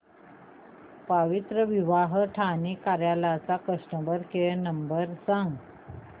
पवित्रविवाह ठाणे कार्यालय चा customer care number सांग